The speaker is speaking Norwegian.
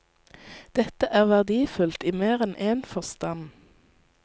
Dette er verdifullt i mer enn én forstand.